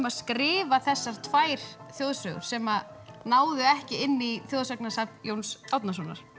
að skrifa þessar tvær þjóðsögur sem náðu ekki inn í þjóðsagnasafn Jóns Árnasonar